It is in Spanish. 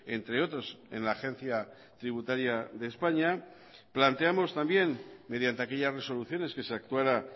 entre otros en la agencia tributaria de españa planteamos también mediante aquellas resoluciones que se actuara